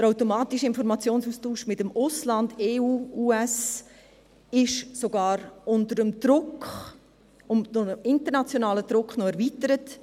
Der automatische Informationsaustausch mit dem Ausland – EU, USA – wird durch internationalen Druck noch erweitert.